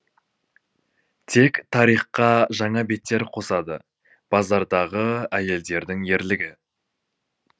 тек тарихқа жаңа беттер қосады базардағы әйелдердің ерлігі